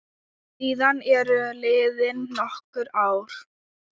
Síðan eru liðin nokkur ár.